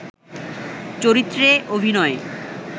চরিত্রে অভিনয়